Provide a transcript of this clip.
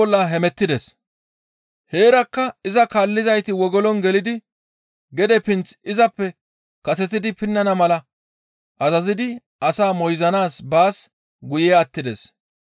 Heerakka iza kaallizayti wogolon gelidi gede pinth izappe kasetidi pinnana mala azazidi asaa moyzanaas baas guye attides.